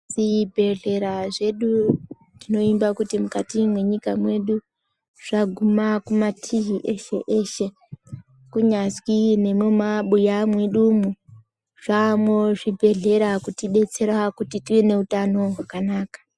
Zvibhedhlera zvedu tinovimba kuti mukati mwenyika mwedu zvaguma kumatii eshe eshe, kunyazwi nemumabuya mwedu mwo zvaamwo zvibhedhlera kutibetsera kuti tive neutano hwakanaka.